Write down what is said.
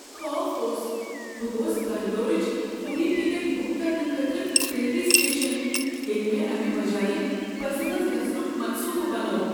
خوف اوس، بہٕ گوس بنگلورٕچ فوری ٹکٹ بک کرنہٕ خٲطرٕ ریلوے سٹیشن ییٚلہ مےٚ امہ بجایہ بسہِ منٛز گژھنک منصوبہٕ بنوو ۔